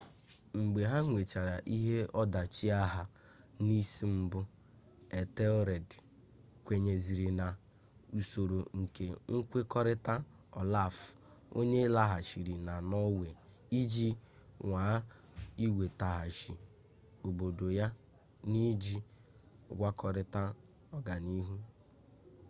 mgbe ha nwechara ihe ọdachi agha n'isi mbụ ethelred kwenyeziri n'usoro nke nkwekọrịta olaf onye laghachịrị na norway iji nwaa iwetaghachi obodo ya n'iji ngwakọrịta ọganiihu